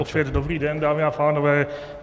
Opět dobrý den, dámy a pánové.